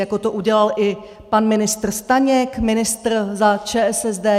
Jako to udělal i pan ministr Staněk, ministr za ČSSD.